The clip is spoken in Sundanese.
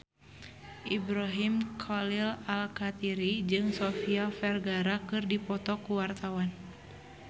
Ibrahim Khalil Alkatiri jeung Sofia Vergara keur dipoto ku wartawan